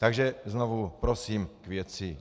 Takže znovu prosím - k věci.